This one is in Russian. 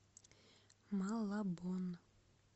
малабон